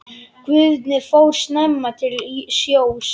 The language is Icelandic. Guðni fór snemma til sjós.